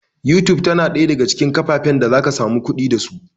YouTube tana ɗaya daga cikin kafafen da zaka samu kuɗi da su